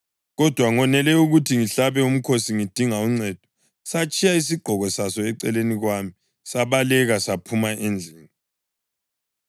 Kodwa ngonele ukuthi ngihlabe umkhosi ngidinga uncedo, satshiya isigqoko saso eceleni kwami sabaleka saphuma endlini.”